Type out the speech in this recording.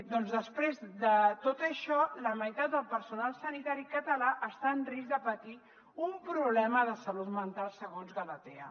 doncs després de tot això la meitat del personal sanitari català està en risc de patir un problema de salut mental segons galatea